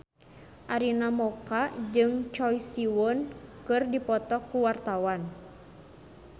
Arina Mocca jeung Choi Siwon keur dipoto ku wartawan